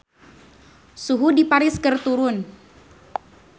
Suhu di Paris keur turun